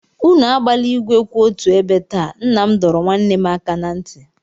Unu agbala igwe kwụ otu ebe taa, nna m dọrọ nwanne m aka na ntị.